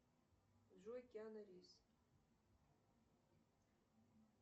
джой киану ривз